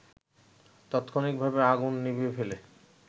তাৎক্ষণিকভাবে আগুন নিভিয়ে ফেলে